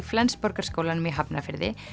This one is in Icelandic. Flensborgarskólanum í Hafnarfirði